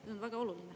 See on väga oluline.